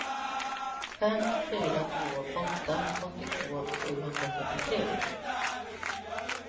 fem fyra två åtta åttiotvå sjuhundrafyrtiotre